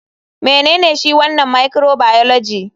Menene shi wanan microbioligy?